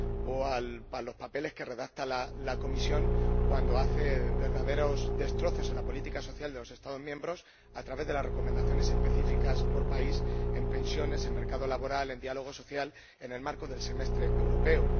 o a los papeles que redacta la Comisión, cuando hace verdaderos destrozos en la política social de los Estados miembros a través de las recomendaciones específicas por país en pensiones, en mercado laboral, en diálogo social, en el marco del Semestre Europeo?